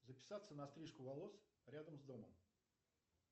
записаться на стрижку волос рядом с домом